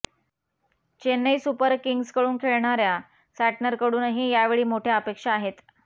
Chennai super किंग्जकडून खेळणाऱ्या सॅटनरकडूनही यावेळी मोठ्या अपेक्षा आहेत